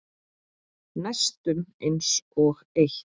Næstum einsog eitt.